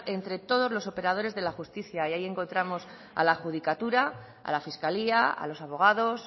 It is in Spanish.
entre todos los operadores de la justicia y ahí encontramos a la judicatura a la fiscalía a los abogados